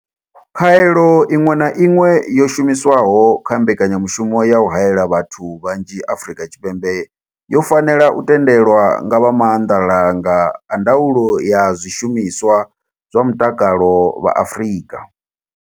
Khaelo iṅwe na iṅwe yo shumiswaho kha mbekanyamushumo ya u haela vhathu vhanzhi Afrika Tshipembe yo fanela u tendelwa nga vha Maanḓalanga a Ndaulo ya Zwishumiswa zwa Mutakalo vha Afrika.